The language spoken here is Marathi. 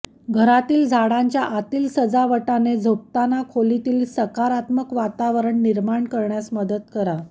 घरातील झाडांच्या आतील सजावटाने झोपताना खोलीत एक सकारात्मक वातावरण निर्माण करण्यास मदत करा